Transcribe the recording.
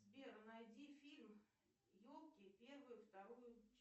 сбер найди фильм елки первую вторую